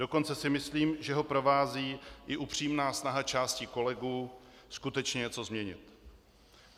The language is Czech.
Dokonce si myslím, že ho provází i upřímná snaha části kolegů skutečně něco změnit.